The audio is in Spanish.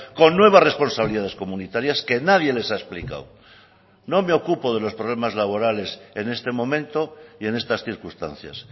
con nuevas responsabilidades comunitarias que nadie les ha explicado no me ocupo de los problemas laborales en este momento y en estas circunstancias